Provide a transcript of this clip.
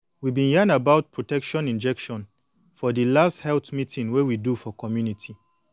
we been yan about protection injection for de last health meeting wey we do for community